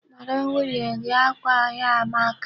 Kpọrọ m nwunye gị! Akwa ya a amaka.